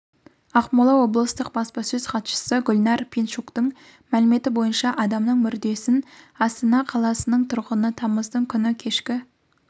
ақмола облыстық баспасөз хатшысы гүлнар пинчуктің мәліметі бойынша адамның мүрдесін астана қаласының тұрғыны тамыздың күні кешкі